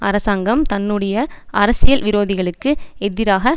அரசாங்கம் தன்னுடைய அரசியல் விரோதிகளுக்கு எதிராக